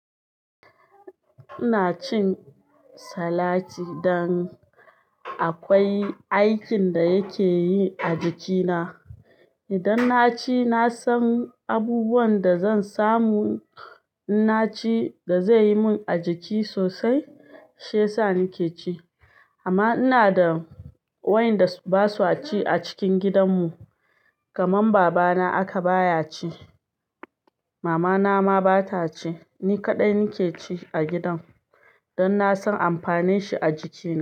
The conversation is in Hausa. Ina cin salati dan akwai aikin da yake yi a jikina. Idan na ci, na san abubuwan da zan samu inna ci da zaiyi min a jiki sosai, shi ya sa nike ci. Amma ina da wayanda ba su a ci a cikin gidanmu, kamar babana haka baya ci, mamana ma bata ci. Ni kaɗai nake ci a gidan don na san amfanin shi a jiki.